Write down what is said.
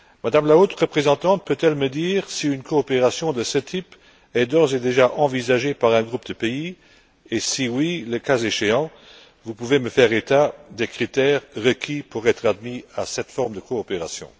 Mme la haute représentante peut elle me dire si une coopération de ce type est d'ores et déjà envisagée par un groupe de pays et, si oui, le cas échéant, pouvez vous m'indiquer les critères requis pour être admis à cette forme de coopération?